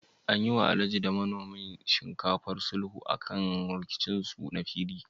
An yi wa Alhaji da manomin shinkafar sulhu akan rikicin su na fili?